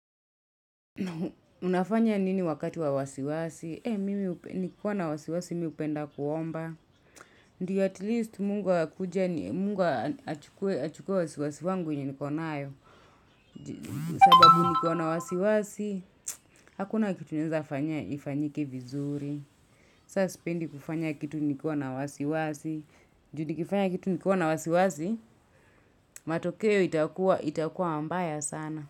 Unafanya nini wakati wa wasiwasi? Mimi nikiwa na wasiwasi, mi hupenda kuomba. Ndio atleast Mungu akuje, ani Mungu achukue wasiwasi wangu wenye niko nayo. Sababu nikiwa na wasiwasi, hakuna kitu naeza fanya ifanyike vizuri. Sasa sipendi kufanya kitu nikiwa na wasiwasi. Ju nikifanya kitu nikiwa na wasiwasi, matokeo itakuwa mbaya sana.